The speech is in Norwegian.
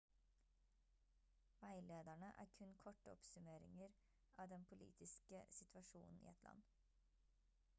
veilederne er kun korte oppsummeringer av den politiske situasjonen i et land